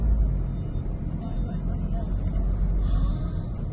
Ay ay ay maşın necə sürətlə gedir, maşın sürətlə gedir.